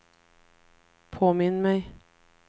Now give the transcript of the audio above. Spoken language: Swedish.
påminn mig